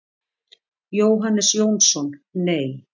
Jóhannes Jónsson: Nei.